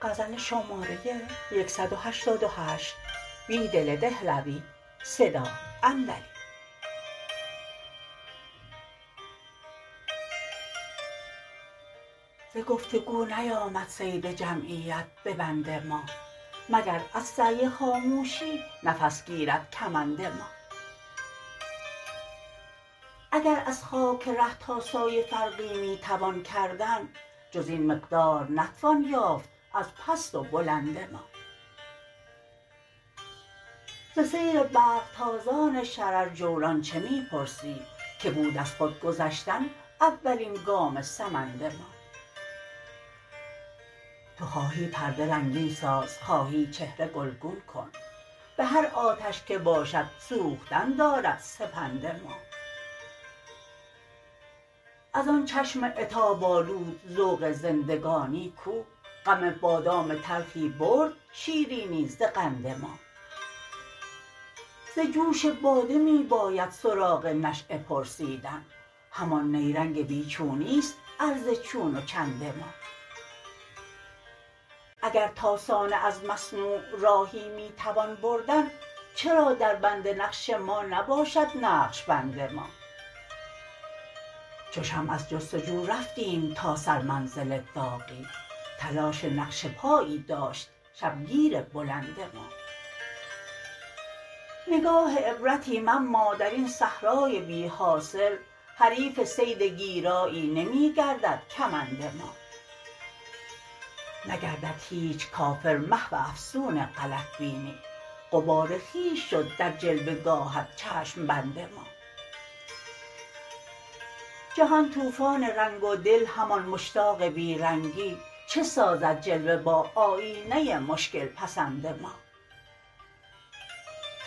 ز گفت وگو نیامد صید جمعیت به بند ما مگر از سعی خاموشی نفس گیرد کمند ما اگر از خاک ره تا سایه فرقی میتوان کردن جز این مقدار نتوان یافت از پست و بلند ما ز سیر برق تازان شررجولان چه می پرسی که بود از خودگذشتن اولین گام سمند ما تو خواهی پرده رنگین ساز و خواهی چهره گلگون کن به هر آتش که باشد سوختن دارد سپند ما از آن چشم عتاب آلود ذوق زندگانی کو غم بادامم تلخی برد شیرینی ز قند ما ز جوش باده می باید سراغ نشیه پرسیدن همان نیرنگ بیچونی ست عرض چون و چند ما اگر تا صانع از مصنوع راهی می توان بردن چرا دربند نقش ما نباشد نقشبند ما چو شمع از جستجو رفتیم تا سر منزل داغی تلاش نقش پایی داشت شبگیر بلند ما نگاه عبرتیم اما درین صحرای بی حاصل حریف صید گیرایی نمی گردد کمند ما نگردد هیچ کافر محو افسون غلط بینی غبار خویش شد در جلوه گاهت چشم بند ما جهان توفان رنگ و دل همان مشتاق بیرنگی چه سازد جلوه با آیینه مشکل پسند ما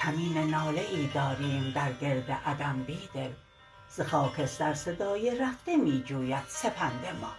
کمین ناله ای داریم در گرد عدم بیدل ز خاکستر صدای رفته می جوید سپند ما